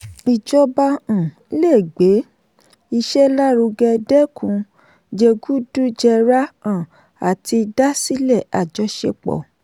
ìjọba um lè gbé iṣẹ́ lárugẹ dẹ́kun jẹgúdújẹrá um àti dásilẹ̀ àjọṣepọ̀.